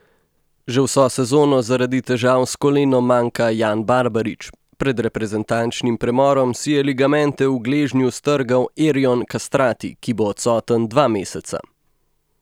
Že vso sezono zaradi težav s kolenom manjka Jan Barbarič, pred reprezentančnim premorom si je ligamente v gležnju strgal Erjon Kastrati, ki bo odsoten dva meseca.